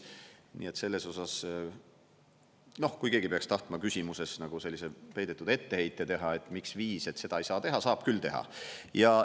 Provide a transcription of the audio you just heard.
Nii et selles osas, kui keegi peaks tahtma küsimuses nagu sellise peidetud etteheite teha, et miks viis, et seda ei saa teha – saab küll teha.